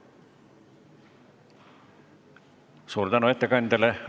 Suur tänu ettekandjale!